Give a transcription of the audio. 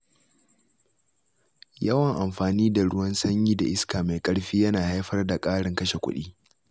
Yawan amfani da ruwan sanyi da iska mai ƙarfi yana haifar da ƙarin kashe kuɗi.